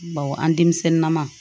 Baw an denmisɛnninnama